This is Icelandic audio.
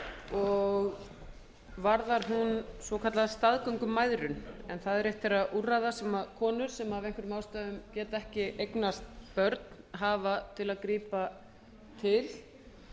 og varðar hún svokallaða staðgöngumæðrun en það er eitt þeirra úrræða sem konur sem af einhverjum ástæðum geta ekki eignast börn hafa til að grípa til